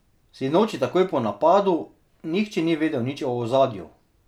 Sinoči takoj po napadu nihče ni vedel nič o ozadju.